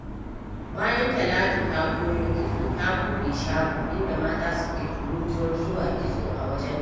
Bayan Talatu ta koyo kitso, ta buɗe shago, inda mata suke tururuwar zuwa kitso wajenta.